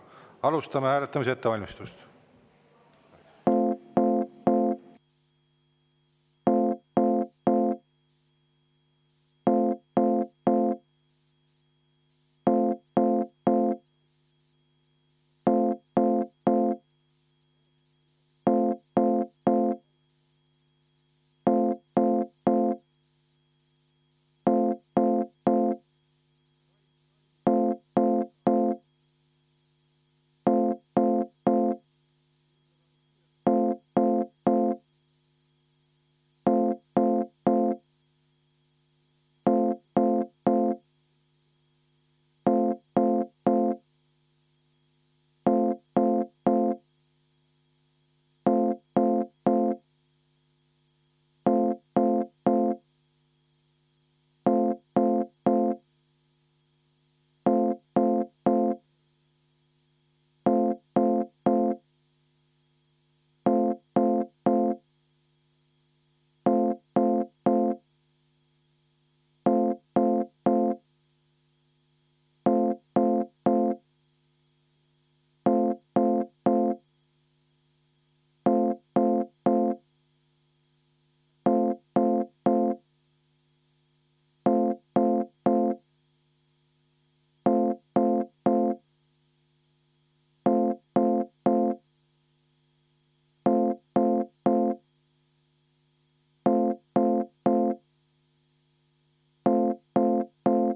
Alustame hääletamise ettevalmistust.